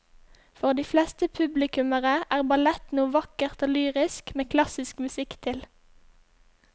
For de fleste publikummere er ballett noe vakkert og lyrisk med klassisk musikk til.